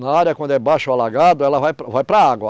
Na área quando é baixo alagado, ela vai vai para a água.